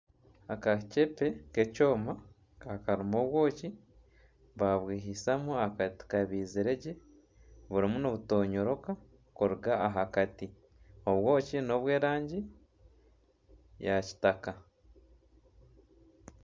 Akaceebe k'ekyoma karimu obwoki babwihisamu akati kabaizirwe gye burimu nibutonyoroka kuruga aha kati obwoki nobw'erangi ya kitaka.